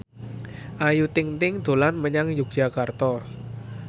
Ayu Ting ting dolan menyang Yogyakarta